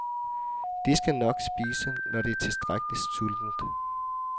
Det skal nok spise, når det er tilstrækkeligt sultent.